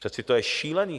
Přeci to je šílený.